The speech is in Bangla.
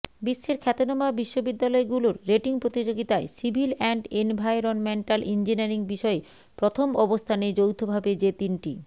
বিশ্বের খ্যাতনামা বিশ্ববিদ্যালয়গুলোর রেটিং প্রতিযোগিতায় সিভিল অ্যান্ড এনভায়রনমেন্টাল ইঞ্জিনিয়ারিং বিষয়ে প্রথম অবস্থানে যৌথভাবে যে তিনটি